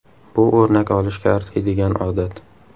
Bu o‘rnak olishga arziydigan odat.